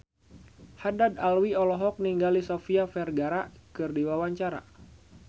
Haddad Alwi olohok ningali Sofia Vergara keur diwawancara